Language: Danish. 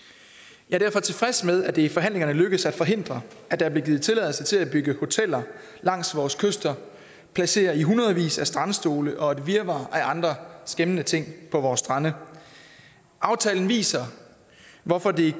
jeg er derfor tilfreds med at det i forhandlingerne lykkedes at forhindre at der blev givet tilladelse til at bygge hoteller langs vores kyster placere i hundredvis af strandstole og et virvar af andre skæmmende ting på vore strande aftalen viser hvorfor det